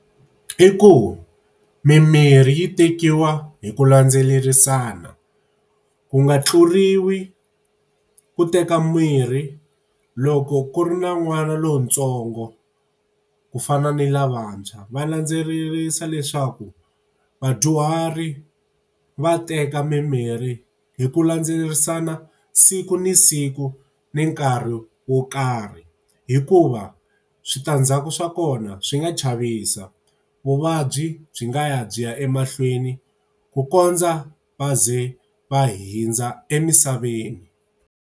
I ku mimirhi yi tekiwa hi ku landzelerisana, ku nga tluriwi, ku teka mirhi loko ku ri na n'wana lontsongo ku fana ni lavantshwa, va landzelerisa leswaku vadyuhari va teka mimirhi hi ku landzelerisana siku ni siku, ni nkarhi wo karhi. Hikuva switandzhaku swa kona swi nga chavisa, vuvabyi byi nga ya byi ya emahlweni ku kondza va ze va hundza emisaveni.